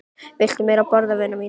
Viltu meira að borða, vina mín